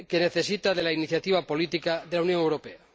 necesita de la iniciativa política de la Unión Europea.